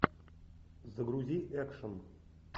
загрузи экшн